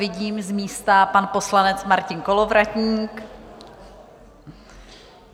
Vidím, z místa pan poslanec Martin Kolovratník.